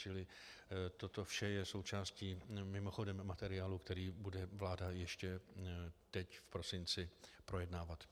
Čili toto vše je součástí mimochodem materiálu, který bude vláda ještě teď v prosinci projednávat.